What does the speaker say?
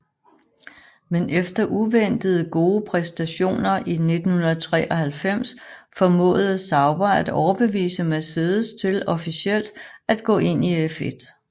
Men efter uventede gode præstationer i 1993 formåede Sauber at overbevise Mercedes til officielt at gå ind i F1